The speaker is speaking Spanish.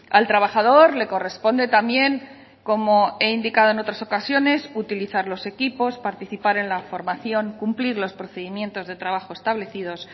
al trabajador le corresponde también como he indicado en otras ocasiones utilizar los equipos participar en la formación cumplir los procedimientos de trabajo establecidos